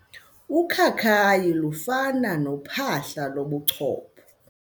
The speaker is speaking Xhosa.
Ukhakayi lufana nophahla lobuchopho.